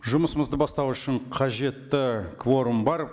жұмысымызды бастау үшін қажетті кворум бар